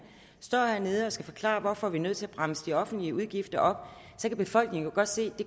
står hernede og skal forklare hvorfor vi er nødt til at bremse de offentlige udgifter op så kan befolkningen jo godt se